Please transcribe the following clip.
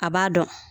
A b'a dɔn